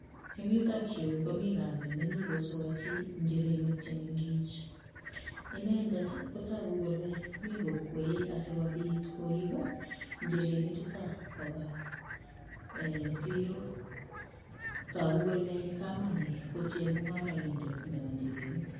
Eng yutok yu komi kamet nemi koswachei injirenik che mengech. Inendet kotagu kole mi kokwee asigopit koip injirenik chuto kopa siro. Tagu kole kamani ko chemungaraindet nebo injirenik.